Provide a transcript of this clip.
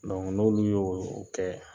n'olu y'o kɛ